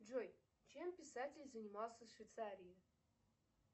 джой чем писатель занимался в швейцарии